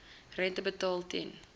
rente betaal ten